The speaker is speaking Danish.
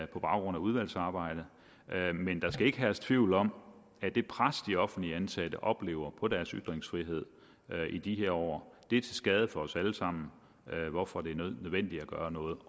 på baggrund af udvalgsarbejdet men der skal ikke herske tvivl om at det pres de offentligt ansatte oplever på deres ytringsfrihed i de her år er til skade for os alle sammen hvorfor det er nødvendigt at gøre noget